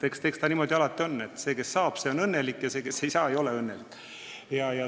Eks ta niimoodi alati ole, et see, kes saab, see on õnnelik, ja see, kes ei saa, ei ole õnnelik.